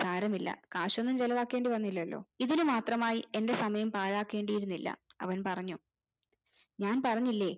സാരമില്ല കാശൊന്നും ചെലവാക്കേണ്ടി വന്നില്ലാലോ ഇതിന് മാത്രമായി എന്റെ സമയം പാഴകേണ്ടിയിരുന്നില്ല അവൻ പറഞ്ഞു ഞാൻ പറഞ്ഞില്ലേ